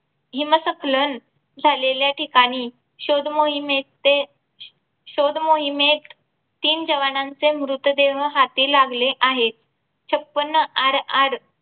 हिम्सखलन झालेल्या ठिकाणी शोधमोहिमेचे शोधमोहिमेत तीन जवानांचे मृत देह हाती लागले आहे. छपन्न RR